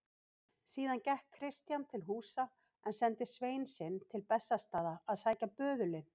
Síðan gekk Christian til húsa en sendi svein sinn til Bessastaða að sækja böðulinn.